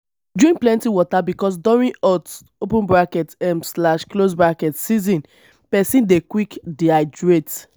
drink plenty water because during hot um season person dey quick dehydrate